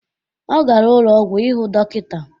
Ọ gara ụlọ ọgwụ ịhụ dọkịta